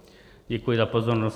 Děkuji za pozornost.